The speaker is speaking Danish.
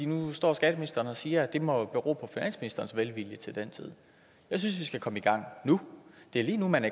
nu står skatteministeren og siger at det må bero på finansministerens velvilje til den tid jeg synes vi skal komme i gang nu det er lige nu man